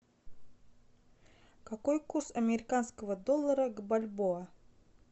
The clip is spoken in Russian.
какой курс американского доллара к бальбоа